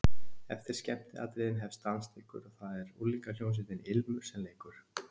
Eftir skemmtiatriðin hefst dansleikur og það er unglingahljómsveitin Ilmur sem leikur.